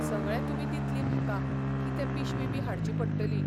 सगळें तुमी दितलीं म्हाका, कितें पिशवी बी हाडची पडटली.